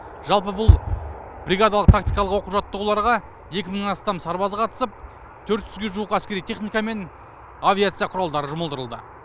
жалпы бұл бригадалық тактикалық оқу жаттығуларға екі мыңнан астам сарбаз қатысып төрт жүзге жуық әскери техника мен авиация құралдары жұмылдырылды